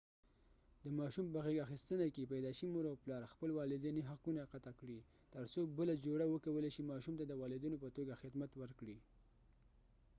د ماشوم په غېږ اخیستنه کې پیدایشي مور و پلار خپل والدیني حقونه قطع کړي تر څو بله جوړه وکولای شي ماشوم ته د والدینو په توګه خدمت ورکړي